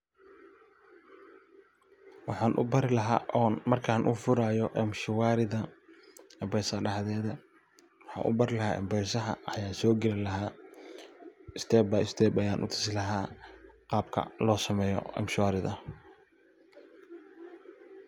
Waxan u beri laha markan u furayo Mshwarida, mpesaha daxdeda .Waxan u bari laha mpesada ayan so gali laha step by step ayan u tusi laha qabka loo sameyo mshwarida.